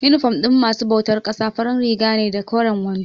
Inifom ɗin masu bautar ƙasa farin riga ne da koren wando.